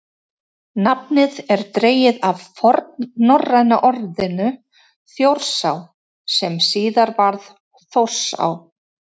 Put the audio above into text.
nafnið er dregið af fornnorræna orðinu „þjórsá“ sem síðar varð „þórsá“